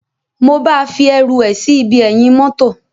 Mo ba fi eru é sí ibi eyin motor.